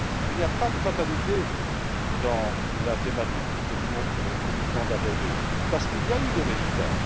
Il n'y a pas de fatalité dans la thématique que nous venons d'aborder, parce qu'il y a eu des résultats.